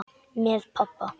Með pabba.